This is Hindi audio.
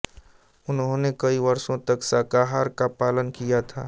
उन्होंने कई वर्षों तक शाकाहार का पालन किया था